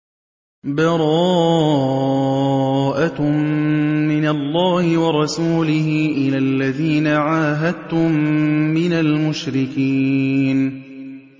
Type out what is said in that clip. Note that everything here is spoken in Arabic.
بَرَاءَةٌ مِّنَ اللَّهِ وَرَسُولِهِ إِلَى الَّذِينَ عَاهَدتُّم مِّنَ الْمُشْرِكِينَ